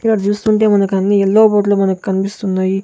ఇక్కడ చూస్తుంటే మనకన్నీ ఎల్లో బోర్డ్లు మనకన్పిస్తున్నాయి.